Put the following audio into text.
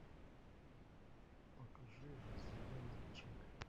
покажи разведенный джек